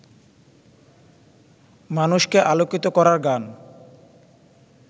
মানুষকে আলোকিত করার গান